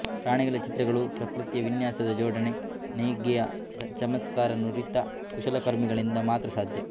ಪ್ರಾಣಿಗಳ ಚಿತ್ರಗಳು ಪ್ರಕೃತಿಯ ವಿನ್ಯಾಸದ ಜೋಡಣೆ ನೇಯ್ಗೆಯ ಚಮತ್ಕಾರ ನುರಿತ ಕುಶಲಕರ್ಮಿಗಳಿಂದ ಮಾತ್ರ ಸಾಧ್ಯ